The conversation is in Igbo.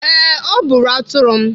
Ee, ọ bụrụ atụrụ m.